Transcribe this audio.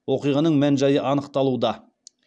оқиғаның мән жайы анықталуда